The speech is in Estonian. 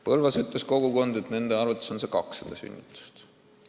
Põlvas avaldati arvamust, et nende arvates on see piir 200 sünnitust.